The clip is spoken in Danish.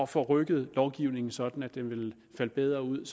få rykket lovgivningen sådan at den ville falde bedre ud